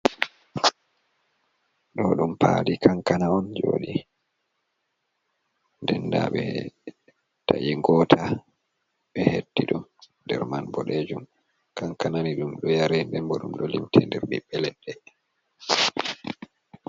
Ɗo'o Ɗum Pali kanka Na on Jodi Ɗenda Ɓe Ta'i Gota Ɓe Hetti Ɗum Ɗer Man Ɓodejum. Kankana ni Ɗum Ɗo Yare Ɗembo Ɗum Ɗo Limte Ɗer, Ɓi Ɓe Leɗɗe.